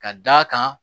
Ka d'a kan